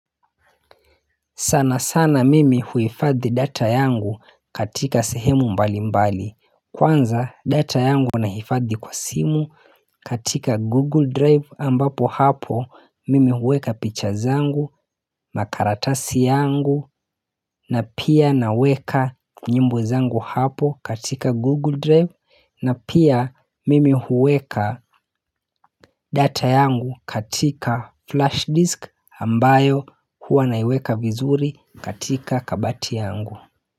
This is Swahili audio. Sana sana mimi huhifadhi data yangu katika sehemu mbali mbali Kwanza data yangu nahifadhi kwa simu katika google drive ambapo hapo mimi huweka pictures angu makaratasi yangu na pia naweka nyimbo zangu hapo katika google drive na pia mimi huweka data yangu katika flash disk ambayo huwa naiweka vizuri katika kabati yangu.